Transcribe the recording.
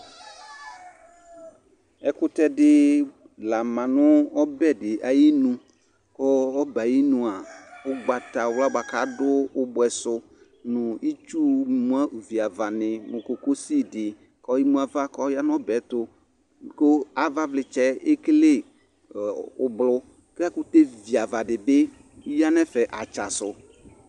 Ɛkʋtɛdɩ la ma nʋ ɔbɛ ayinu, k'ɔ ɔbɛɛ ayinua , ʋgbatawa bʋa k'adʋ ʋbʋɛsʋ nʋ itsu mua viavanɩ nʋ kokosidɩ k'emuava k'ɔya n'ɔbɛɛtʋ kʋ avavlɩtsɛ ekele ɔɔ ʋblʋ ; k'ɛkʋtɛ viavadɩ bɩ ya n'ɛfɛ atsasʋ